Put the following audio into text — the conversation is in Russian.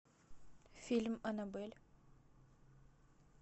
фильм аннабель